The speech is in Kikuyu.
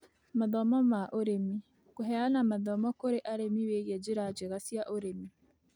Mathomo ma ũrĩmi: Kũheana mathomo kũrĩ arĩmi wĩgie njĩra njega cia ũrĩmi,